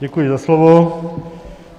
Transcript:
Děkuji za slovo.